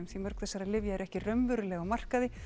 því mörg þessara lyfja eru ekki raunverulega á markaði